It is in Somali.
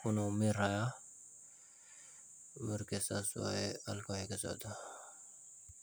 kuna umirahaya, marka saas waya.